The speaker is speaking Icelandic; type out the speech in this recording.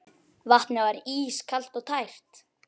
Vatnið var ískalt og tært.